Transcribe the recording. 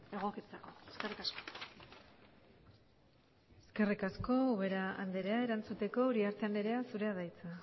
egokitzeko eskerrik asko eskerrik asko ubera andrea erantzuteko uriarte andrea zurea da hitza